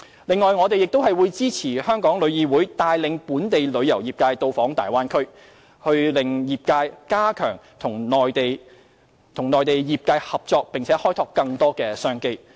此外，我們會支持香港旅遊業議會帶領本地旅遊業界到訪大灣區，讓業界加強與內地業界合作，開拓更多商機。